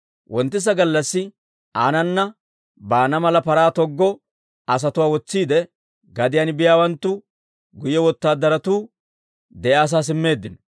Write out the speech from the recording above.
Wonttisa gallassi aanana baana mala paraa toggo asatuwaa wotsiide, gediyaan biyaawanttu guyye wotaadaratuu de'iyaasaa simmeeddino.